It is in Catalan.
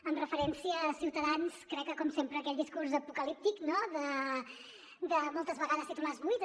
amb referència a ciutadans crec que com sempre aquell discurs apocalíptic no de moltes vegades titulars buits